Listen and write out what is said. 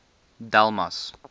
delmas